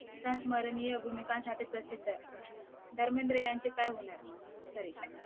स्मरणीय भूमिकांसाठी प्रसिद्ध आहेत धर्मेंद्र यांचे काय होणार सॉरी